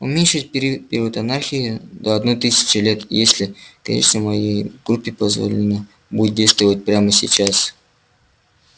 уменьшить период анархии до одной тысячи лет если конечно моей группе позволено будет действовать прямо сейчас